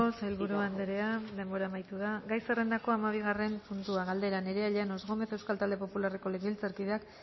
sailburu andrea denbora amaitu da gai zerrendako hamabigarren puntua galdera nerea llanos gómez euskal talde popularreko legebiltzarkideak